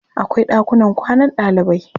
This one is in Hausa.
Akwai ɗakunan kwanan ɗalibai.